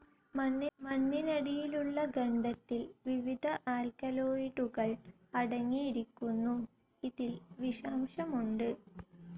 മണ്ണിനടിയിലുള്ള ഖണ്ഡത്തിൽ വിവിധ ആൽക്കലോയ്ഡുകൾ അടങ്ങിയിരിക്കുന്നു. ഇതിൽ വിഷാംശമുണ്ട്.